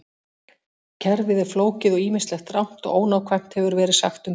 Kerfið er flókið og ýmislegt rangt og ónákvæmt hefur verið sagt um það.